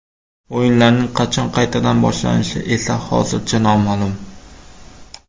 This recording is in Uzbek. O‘yinlarning qachon qaytadan boshlanishi esa hozircha noma’lum.